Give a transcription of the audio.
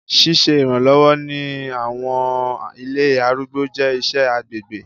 Siṣe iranlọwọ ni àwọn ilé arúgbó jẹ iṣẹ agbegbe